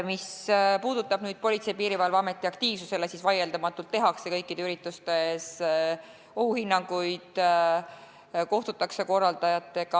Mis puudutab Politsei- ja Piirivalveameti aktiivsust, siis vaieldamatult tehakse kõikide ürituste ohuhinnangud ja kohtutakse korraldajatega.